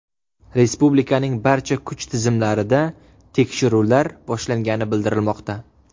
Respublikaning barcha kuch tizimlarida tekshiruvlar boshlangani bildirilmoqda.